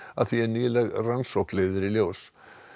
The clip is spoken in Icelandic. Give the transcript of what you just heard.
að því er nýleg rannsókn leiðir í ljós